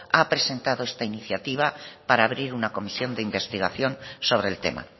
ha presentado esta iniciativa para abrir una comisión de investigación sobre el tema